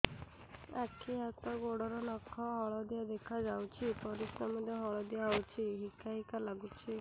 ଆଖି ହାତ ଗୋଡ଼ର ନଖ ହଳଦିଆ ଦେଖା ଯାଉଛି ପରିସ୍ରା ମଧ୍ୟ ହଳଦିଆ ହଉଛି ହିକା ହିକା ଲାଗୁଛି